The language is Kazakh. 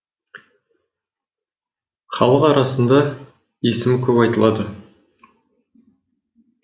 халық арасында есімі көп айтылады